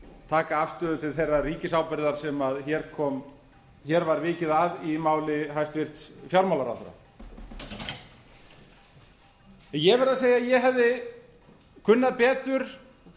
taka afstöðu til þeirrar ríkisábyrgðar sem hér var vikið að í máli hæstvirts fjármálaráðherra ég verð að segja að ég hefði kunnað betur